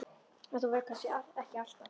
En þú verður það kannski ekki alltaf.